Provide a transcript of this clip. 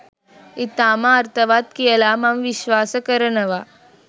ඉතාම අර්ථවත් කියලා මම විශ්වාස කරනවා.